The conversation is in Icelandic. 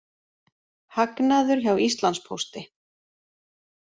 Hagnaður hjá Íslandspósti